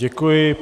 Děkuji.